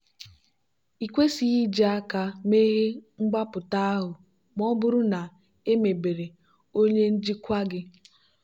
ịkwesighi iji aka meghee mgbapụta ahụ ma ọ bụrụ na emebere onye njikwa gị.